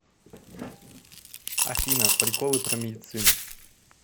афина приколы про медицину